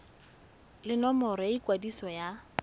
le nomoro ya ikwadiso ya